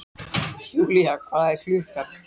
Julia, hvað er klukkan?